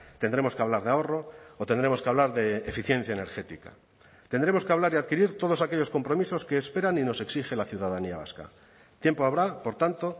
tendremos que hablar de ahorro o tendremos que hablar de eficiencia energética tendremos que hablar y adquirir todos aquellos compromisos que esperan y nos exige la ciudadanía vasca tiempo habrá por tanto